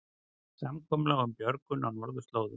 Samkomulag um björgun á norðurslóðum